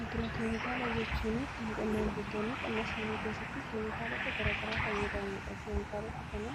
agroo keemikaala jechuun kan qonnaan bultoonni qonnaa isaanii keessatti keemikaalota garagaraa fayyadamanidha. keemikaalota kana